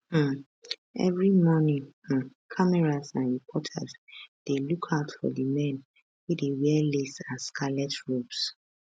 um evri morning um cameras and reporters dey lookout for di men wey dey wear lace and scarlet robes